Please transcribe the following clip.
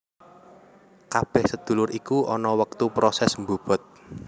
Kabeh sedulur iku ana wektu proses mbobot